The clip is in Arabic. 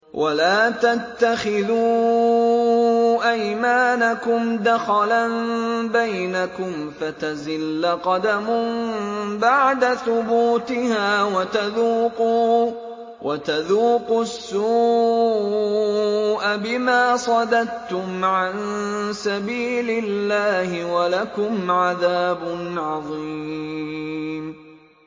وَلَا تَتَّخِذُوا أَيْمَانَكُمْ دَخَلًا بَيْنَكُمْ فَتَزِلَّ قَدَمٌ بَعْدَ ثُبُوتِهَا وَتَذُوقُوا السُّوءَ بِمَا صَدَدتُّمْ عَن سَبِيلِ اللَّهِ ۖ وَلَكُمْ عَذَابٌ عَظِيمٌ